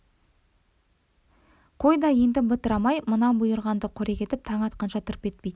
қой да енді бытырамай мына бұйырғанды қорек етіп таң атқанша тырп етпейді